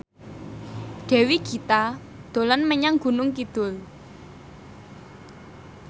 Dewi Gita dolan menyang Gunung Kidul